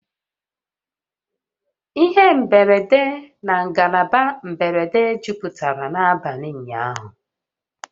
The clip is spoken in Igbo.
Ihe mberede na ngalaba mberede jupụtara n'abalị ụnyaahụ